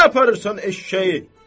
Hara aparırsan eşşəyi?